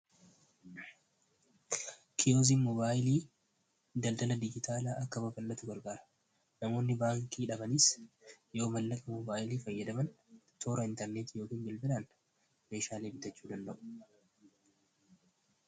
Kiyuuziin moobaayiliin daldalli dijiitaalaa akka babal'atu gargaara. Namoonni baankii dhabanis yoo maallaqa moobaayilii fayyadaman, toora intarneertii fayyadamuun meeshaalee bitachuu danda'u.